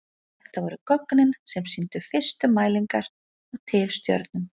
Þetta voru gögnin sem sýndu fyrstu mælingar á tifstjörnum.